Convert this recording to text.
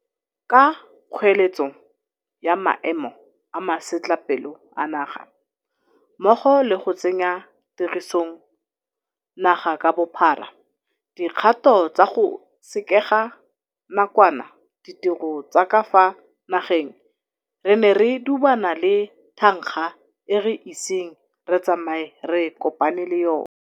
Ka kgoeletso ya maemo a masetlapelo a naga mmogo le go tsenya tirisong naga ka bophara dikgato tsa go sekega nakwana ditiro tsa ka fa nageng re ne re dubana le thankga e re iseng re tsamaye re kopane le yona.